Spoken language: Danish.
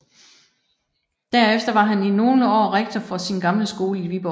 Derefter var han i nogle år rektor for sin gamle skole i Viborg